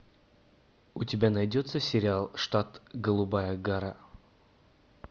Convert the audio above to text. у тебя найдется сериал штат голубая гора